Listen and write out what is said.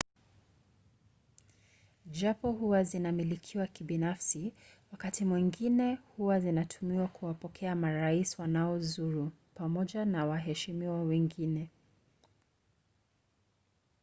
japo huwa zinamilikiwa kibinafsi wakati mwingine huwa zinatumiwa kuwapokea marais wanaozuru pamoja na waheshimiwa wengine